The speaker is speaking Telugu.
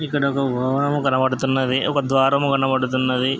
ఇక్కడ ఒక వాహనం కనబడుతున్నది ఒక ద్వారము కనబడుతున్నది.